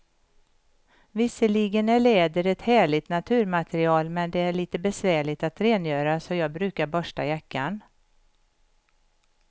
Visserligen är läder ett härligt naturmaterial, men det är lite besvärligt att rengöra, så jag brukar borsta jackan.